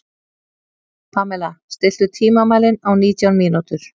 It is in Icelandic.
Pamela, stilltu tímamælinn á nítján mínútur.